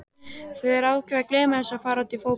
Þeir ákveða að gleyma þessu og fara út í fótbolta.